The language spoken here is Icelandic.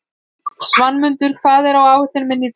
Svanmundur, hvað er á áætluninni minni í dag?